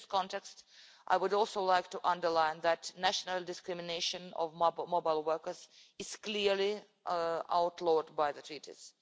In this context, I would also like to underline that national discrimination against mobile workers is clearly outlawed by the Treaties.